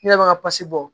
Ne yɛrɛ bɛ ka basi bɔ